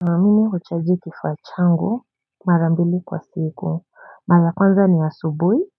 Mimi huchaji kifaa changu mara mbili kwa siku, mara kwanza ni ya subuhi,